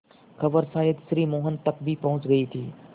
खबर शायद श्री मोहन तक भी पहुँच गई थी